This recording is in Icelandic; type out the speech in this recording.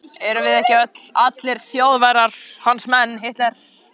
Erum við ekki öll, allir Þjóðverjar, hans menn.